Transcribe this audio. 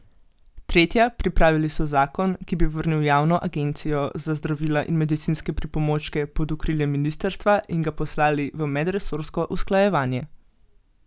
Tretja, pripravili so zakon, ki bi vrnil javno agencijo za zdravila in medicinske pripomočke pod okrilje ministrstva, in ga poslali v medresorsko usklajevanje.